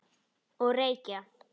Og reykja.